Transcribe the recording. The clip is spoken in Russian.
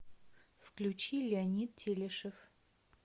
включи леонид телешев